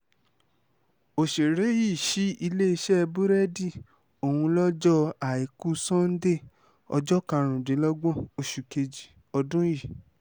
ọ̀sẹ̀rẹ̀ yìí ṣí iléeṣẹ́ búrẹ́dì ọ̀hún lọ́jọ́ àìkú sannde ọjọ́ karùndínlọ́gbọ̀n oṣù kejì ọdún yìí